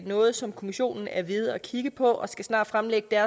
noget som kommissionen er ved at kigge på og den skal snart fremlægge